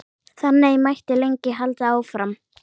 Þannig mætti lengi halda áfram.